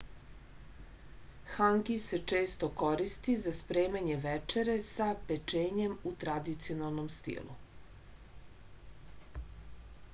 hangi se često koristi za spremanje večere sa pečenjem u tradicionalnom stilu